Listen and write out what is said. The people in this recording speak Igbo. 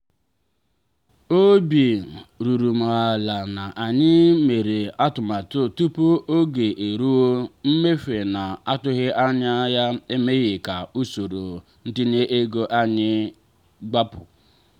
obi ruru m ala na anyị mere atụmatụ tupu oge eruo; mmefu na-atụghị anya ya emeghị ka usoro ntinye ego anyị gbapụ.